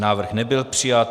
Návrh nebyl přijat.